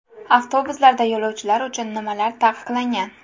Avtobuslarda yo‘lovchilar uchun nimalar taqiqlangan?.